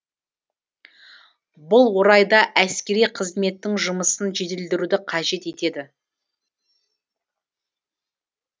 бұл орайда әскери қызметтің жұмысын жетілдіруді қажет етеді